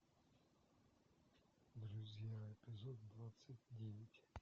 друзья эпизод двадцать девять